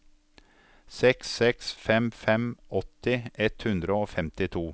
seks seks fem fem åtti ett hundre og femtito